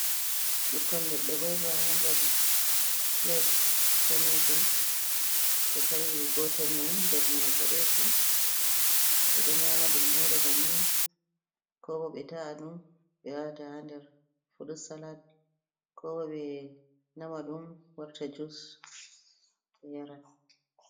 Ɓikkon leɗɗe goyba: Ha nder pilat danejum ɓe ta’i gotel mai nder mai bodejum ɓe ɗo nyama ɗum mere banni ko ɓo ɓe ta’a ɗum ɓe wata ha nder furut salad ko ɓo ɓe nama ɗum warta jus ɓe yara.